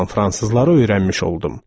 olan fransızları öyrənmiş oldum.